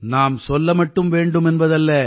நான் சொல்ல மட்டும் வேண்டும் என்பதல்ல